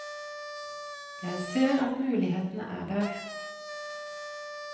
Jeg ser at mulighetene er der.